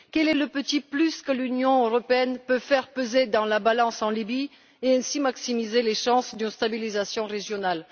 Quel est le petit plus que l'Union européenne peut faire peser dans la balance en Libye pour ainsi maximiser les chances de stabilisation régionale?